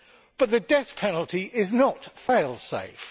But the death penalty is not fail safe.